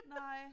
Nej